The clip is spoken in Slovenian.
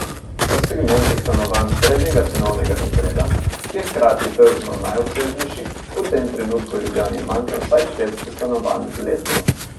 V segmentu stanovanj srednjega cenovnega razreda, ki je hkrati tržno najobsežnejši, v tem trenutku v Ljubljani manjka vsaj petsto stanovanj letno.